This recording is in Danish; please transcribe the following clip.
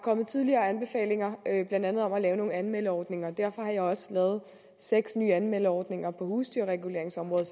tidligere kommet anbefalinger blandt andet om at lave nogle anmeldeordninger derfor har jeg også lavet seks nye anmeldeordninger på husdyrreguleringsområdet